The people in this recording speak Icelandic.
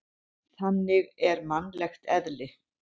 Þannig er mannlegt eðli.